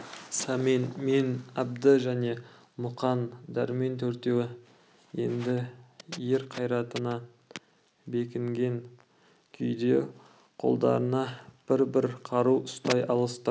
сәмен мен әбді және мұқан дәрмен төртеуі енді ер қайратына бекінген күйде қолдарына бір-бір қару ұстай алысты